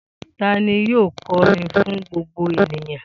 Ta ni yóò kọrin fún gbogbo ènìyàn?